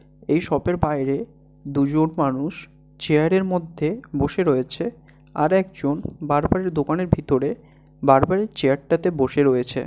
এই শপ এর বাইরে দুজন মানুষ চেয়ারের মধ্যে বসে রয়েছে। আর একজন বারবার - এর দোকানের ভিতরে বারবার -এর চেয়ার টাতে বসে রয়েছে।